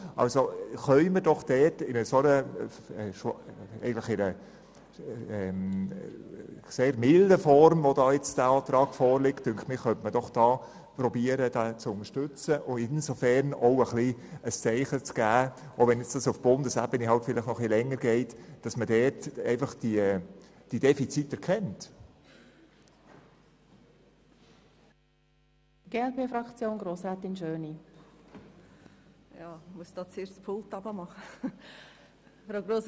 Also können wir diesen Antrag doch in seiner sehr milden Form unterstützen und auch insofern ein Zeichen setzen, als dass man diese Defizite auf Bundesebene erkennt, selbst wenn es vielleicht noch etwas länger dauert.